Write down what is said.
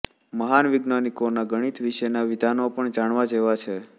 મહાન વૈજ્ઞાનિકોના ગણિત વિશેનાં વિધાનો પણ જાણવા જેવા છે